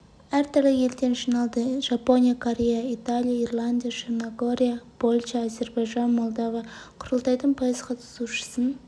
әр түрлі елден жиналды жапония корея италия ирландия черногория польша әзербайжан молдова құрылтайдың пайыз қатысушысын